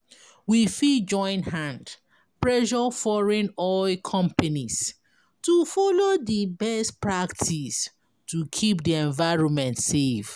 We fit join hand pressure foreign oil companies to follow di best practice to keep di environment safe